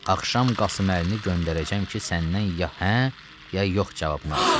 Axşam Qasıməlini göndərəcəm ki, səndən ya hə, ya yox cavabını alsın.